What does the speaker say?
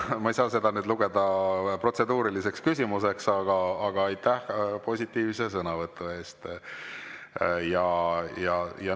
Ma ei saa seda lugeda protseduuriliseks küsimuseks, aga aitäh positiivse sõnavõtu eest.